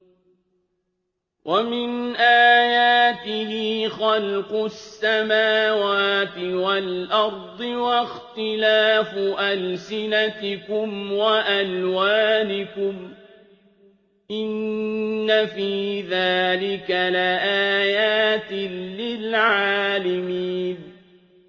وَمِنْ آيَاتِهِ خَلْقُ السَّمَاوَاتِ وَالْأَرْضِ وَاخْتِلَافُ أَلْسِنَتِكُمْ وَأَلْوَانِكُمْ ۚ إِنَّ فِي ذَٰلِكَ لَآيَاتٍ لِّلْعَالِمِينَ